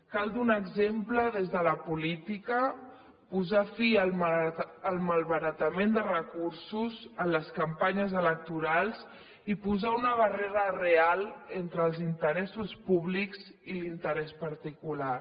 cal donar exemple des de la política posar fi al malbaratament de recursos en les campanyes electorals i posar una barrera real entre els interessos públics i l’interès particular